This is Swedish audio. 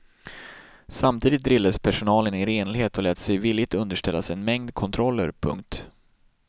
Samtidigt drillades personalen i renlighet och lät sig villigt underställas en mängd kontroller. punkt